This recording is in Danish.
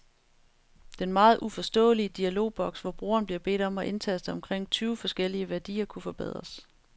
Den meget uforståelige dialogboks, hvor brugeren bliver bedt om at indtaste omkring tyve forskellige værdier, kunne forbedres.